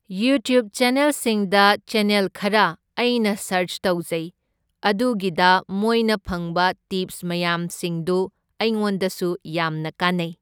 YouTube ꯆꯦꯟꯅꯦꯜꯁꯤꯡꯗ channel ꯈꯔ ꯑꯩꯅ ꯁꯔꯁ ꯇꯧꯖꯩ, ꯑꯗꯨꯒꯤꯗ ꯃꯣꯏꯅ ꯐꯪꯕ ꯇꯤꯞꯁ ꯃꯌꯥꯝꯁꯤꯡꯗꯨ ꯑꯩꯉꯣꯟꯗꯁꯨ ꯌꯥꯝꯅ ꯀꯥꯟꯅꯩ꯫